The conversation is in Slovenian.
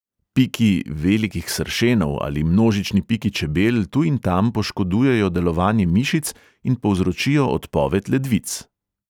Piki velikih sršenov ali množični piki čebel tu in tam poškodujejo delovanje mišic in povzročijo odpoved ledvic.